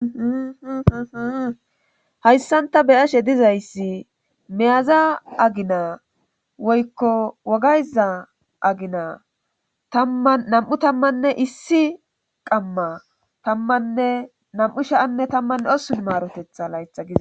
hayssanta beyashe dizayssi meyaza agina woykko wogayza agina tanam7u tammanne issi qamma tammanne nam7u sha7anne tammanne osun maarotetha laytha giza